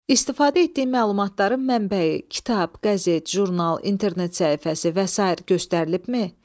İstifadə etdiyim məlumatların mənbəyi, kitab, qəzet, jurnal, internet səhifəsi və sair göstərilibmi?